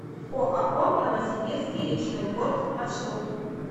оао новосибирский речной порт маршрут